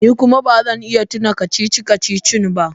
Ni kuma ba zan iya tuna kacici-kacicin ba.